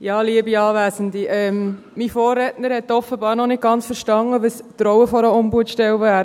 Ja, liebe Anwesende, mein Vorredner hat offenbar noch nicht ganz verstanden, was die Rolle einer Ombudsstelle wäre.